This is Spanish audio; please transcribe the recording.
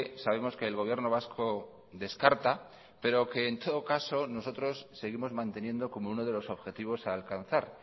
sabemos que el gobierno vasco descarta pero que en todo caso nosotros seguimos manteniendo como uno de los objetivos a alcanzar